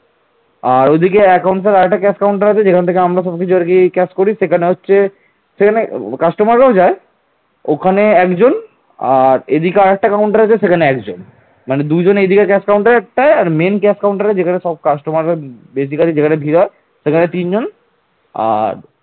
ওখানে একজন আর এইদিকে আর একটা counter আছে সেখানে একজন মানে দুজন এইদিকের cash counter তাই আর main cash counter যেখানে সব customer যেখানে বিয়ে হয় সেখানে তিনজন আর